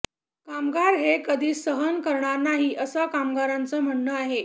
कामगार हे कधी सहन करणार नाही असं कामगारांच म्हणणं आहे